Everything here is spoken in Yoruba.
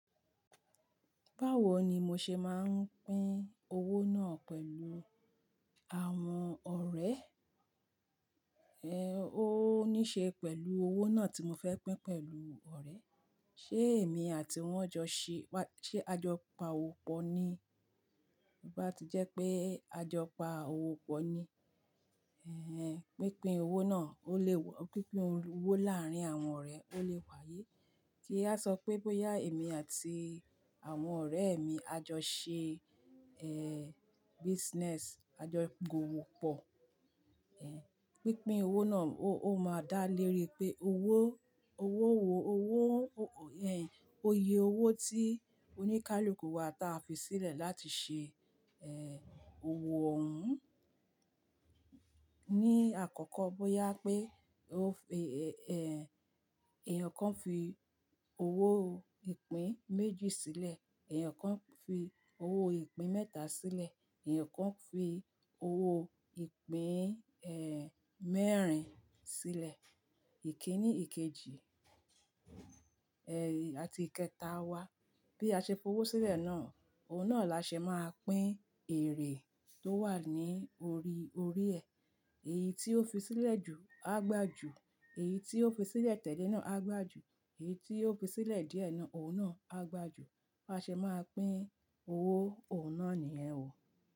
Báwo ni mo ṣe máa ń pín owó náà pẹ̀lú àwọn ọ̀rẹ́? Ẹ̀ ó ní ṣe pẹ̀lú owó náà tí mo fẹ́ pín pẹ̀lú ọ̀rẹ́. Ṣé èmi àti wọ́n jọ ṣe wa-- ṣé ajọpa òwò pọ̀ ni? Bí bá ti jẹ́ pé ajọpa òwò pọ̀ ni, ẹ́ hẹ́n, pínpín owó náà ó lè wà-- pínpín owó láàárín àwọn ọ̀rẹ́ ó lè wáyé. Kí a sọ pé bóyá èmi àti àwọn ọ̀rẹ́ mi a jọ ṣe, ẹ́, bisinesi, a jọ gba òwò pọ̀, ẹ́, pínpín owó náà ó, ó máa dá léèrè pé owó, owó wo owó, ẹ́ hẹ́n, iye owó tí oníkálukú wa ta fi sílẹ̀ láti ṣe, ẹ́, òwò òhún. Ní àkọ́kọ́ bóyá pé ó fi, ẹ́, ẹ́, èèyàn kan fi owó ìpín méjì sílẹ̀, èèyàn kan fi owó ìpín mẹ́ta sílẹ̀, èèyàn kan fi owó ìpín, ẹ́, mẹ́rin sílẹ̀. Ikiní ikejì, ẹ́, àti ìkẹta wa. Bí a ṣe f'owó sílẹ̀ náà, òun náà la ṣe máa pín èrè tó wà ní orí, orí ẹ. Èyí tí ó fi sílẹ̀ jù á gbà jù, èyí tí ó fi sílẹ̀ tẹ́lẹ̀ náà á gbà jù, èyí tí ó fi sílẹ̀ díẹ̀ náà, òun náà á gbà jù. Bá ṣe máa pín owó, òun náà nìyẹn ó.